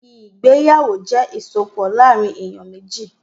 Ìgbéyàwó jẹ́ ìsopọ̀ láàrín èyàn méjì.